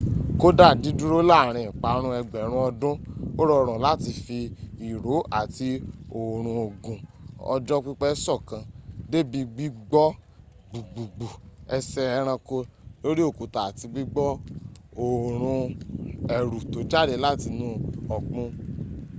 kódá dídúró láàrin ìparun ẹgbẹ̀rún ọdún ó rọrùn láti fi ìró àti òórùn ogun ọjọ́ pípẹ̀ sọ́kàn débí gbígbọ́ gbùgbùgbù ẹsẹ ẹranko lórí òkúta àti gbígbọ́ òórùn ẹ̀rù tó jáde látinú ọ̀gbun